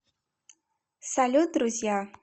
салют друзья